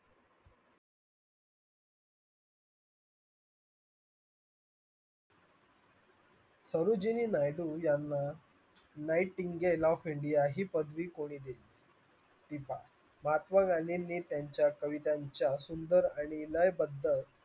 यांना nightingale of India ही पदवी महात्मा गांधींनी त्यांच्या कवितांच्या सुंदर